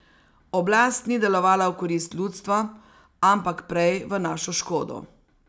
Oblast ni delovala v korist ljudstva, ampak prej v našo škodo.